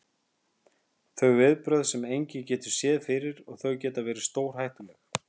Þau viðbrögð getur engin séð fyrir og þau geta verið stórhættuleg.